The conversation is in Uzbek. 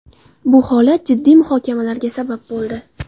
Bu holat jiddiy muhokamalarga sabab bo‘ldi.